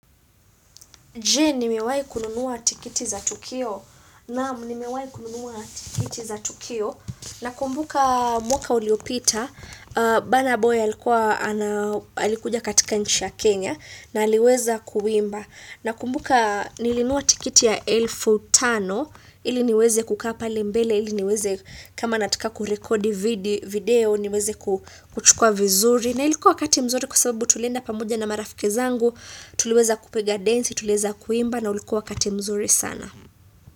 Je, nimewai kununuwa tikiti za Tukio. Naamu, nimewai kununuwa tikiti za Tukio. Na kumbuka mwaka uliopita, bana boy alikuja katika nchi ya Kenya, na aliweza kuwimba. Na kumbuka nilinunua tikiti ya elfu Tano, ili niweze kukaa pale mbele, ili niweze kama natika kurekodi video, niweze kuchukua vizuri. Na ilikua wakati mzuri kwa sababu tulienda pamoja na marafiki zangu, Tuliweza kupiga densi, tuliweza kuimba na ulikua wakati mzuri sana.